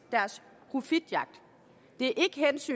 af deres profitjagt det